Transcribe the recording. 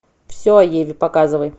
все о еве показывай